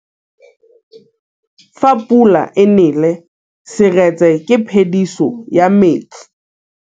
Fa pula e nelê serêtsê ke phêdisô ya metsi.